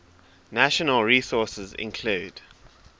natural resources include